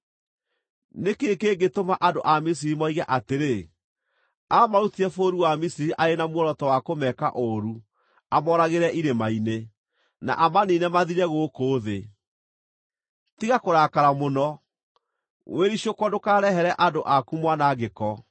Nĩ kĩĩ kĩngĩtũma andũ a Misiri moige atĩrĩ, ‘Aamarutire bũrũri wa Misiri arĩ na muoroto wa kũmeka ũũru amooragĩre irĩma-inĩ, na amaniine mathire gũkũ thĩ’? Tiga kũrakara mũno; wĩricũkwo ndũkarehere andũ aku mwanangĩko.